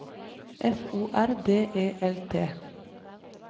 F O R D E L T